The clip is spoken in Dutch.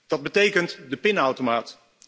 Dat betekent de pinautomaat.